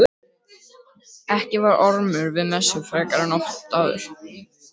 Ekki var Ormur við messu frekar en oft áður.